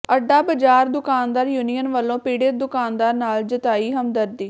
ਅੱਡਾ ਬਾਜ਼ਾਰ ਦੁਕਾਨਦਾਰ ਯੂਨੀਅਨ ਵਲੋਂ ਪੀੜਤ ਦੁਕਾਨਦਾਰ ਨਾਲ ਜਤਾਈ ਹਮਦਰਦੀ